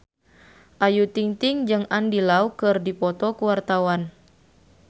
Ayu Ting-ting jeung Andy Lau keur dipoto ku wartawan